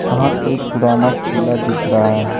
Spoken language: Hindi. यहाँ कोई पुराना किला दिख रहा है।